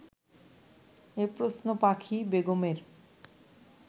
এ প্রশ্ন পাখি বেগমের